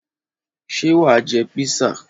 Ṣé wà á jẹ písà?